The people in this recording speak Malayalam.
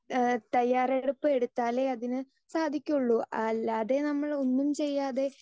സ്പീക്കർ 2 ഏഹ് തയ്യാറെടുപ്പ് എടുത്താലേ അതിന് സാധിക്കുള്ളൂ അല്ലാതെ നമ്മൾ ഒന്നും ചെയ്യാതെ